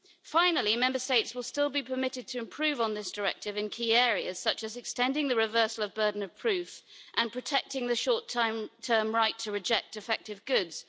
Finally, Member States will still be permitted to improve on this directive in key areas such as extending the reversal of burden of proof and protecting the short term right to reject defective goods.